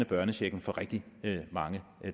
børnechecken fra rigtig mange